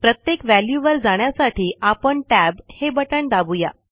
प्रत्येक वॅल्यू वर जाण्यासाठी आपण टॅब हे बटण दाबू या